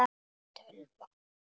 Hvað er tölva?